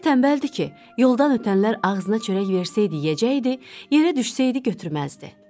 Elə tənbəldir ki, yoldan ötənlər ağzına çörək versəydi yeyəcəkdi, yerə düşsəydi götürməzdi.